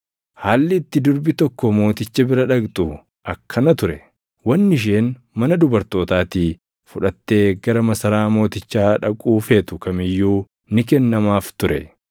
Haalli itti durbi tokko mooticha bira dhaqxu akkana ture: Wanni isheen mana dubartootaatii fudhattee gara masaraa mootichaa dhaquu feetu kam iyyuu ni kennamaaf ture.